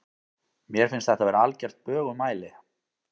Mér finnst þetta vera algert bögumæli.